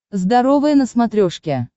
здоровое на смотрешке